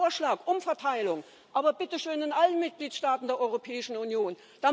Ein toller Vorschlag Umverteilung, aber bitte schön in allen Mitgliedstaaten der Europäischen Union!